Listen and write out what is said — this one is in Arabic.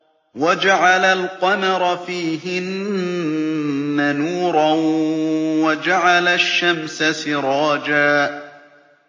وَجَعَلَ الْقَمَرَ فِيهِنَّ نُورًا وَجَعَلَ الشَّمْسَ سِرَاجًا